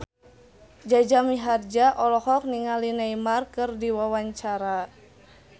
Jaja Mihardja olohok ningali Neymar keur diwawancara